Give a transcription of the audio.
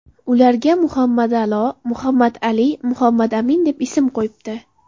Ularga Muhammada’lo, Muhammadali, Muhammadamin deb ism qo‘yibdi.